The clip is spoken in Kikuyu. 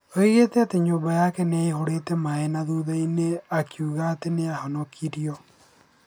Oigire atĩ nyũmba yake nĩ yaihũrĩte maaĩ na thutha-inĩ akiuga atĩ nĩ ahonokirio.